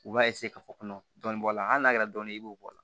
U b'a k'a fɔ ko kɔnɔ dɔɔnin bɔ a la hali n'a kɛra dɔɔni i b'o bɔ a la